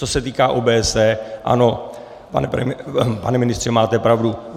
Co se týká OBSE, ano, pane ministře, máte pravdu.